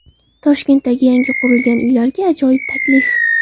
Toshkentdagi yangi qurilgan uylarga ajoyib taklif.